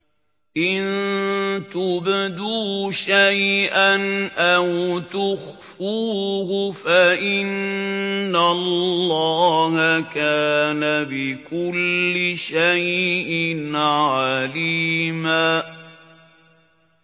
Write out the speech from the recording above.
إِن تُبْدُوا شَيْئًا أَوْ تُخْفُوهُ فَإِنَّ اللَّهَ كَانَ بِكُلِّ شَيْءٍ عَلِيمًا